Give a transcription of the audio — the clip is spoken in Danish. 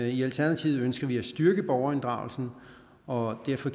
i alternativet ønsker vi at styrke borgerinddragelsen og derfor